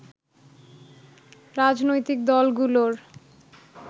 রাজনৈতিক দলগুলোর